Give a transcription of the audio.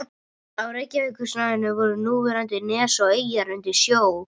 Á Reykjavíkursvæðinu voru núverandi nes og eyjar undir sjó.